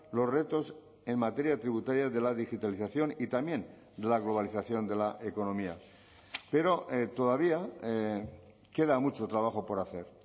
los retos en materia tributaria de la digitalización y también de la globalización de la economía pero todavía queda mucho trabajo por hacer